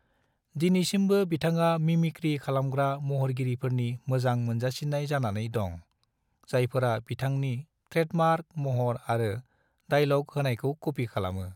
दिनैसिमबो बिथाङा मिमिक्री खालामग्रा महरगिरिफोरनि मोजां मोनजासिन्नाय जानानै दं, जायफोरा बिथांनि ट्रेडमार्क महर आरो डायलग होनायखौ कपी खालामो।